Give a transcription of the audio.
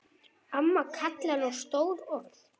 Amma kallar á stór orð.